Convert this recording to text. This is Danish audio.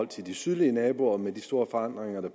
til de sydlige naboer med de store forandringer der